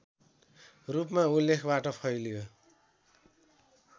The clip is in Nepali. रूपमा उल्लेखबाट फैलियो